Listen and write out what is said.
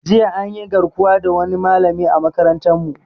Jiya anyi garkuwa da wani malami a makarantar mu